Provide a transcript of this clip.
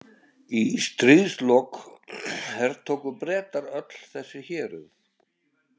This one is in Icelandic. Í stríðslok hertóku Bretar öll þessi héruð.